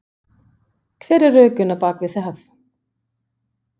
Hver eru rökin á bakvið það?